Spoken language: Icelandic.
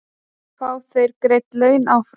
Fá þeir greidd laun áfram?